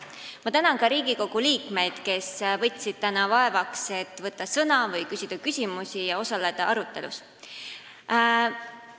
Ma tänan ka Riigikogu liikmeid, kes võtsid vaevaks võtta sõna või küsida küsimusi, et arutelus osaleda.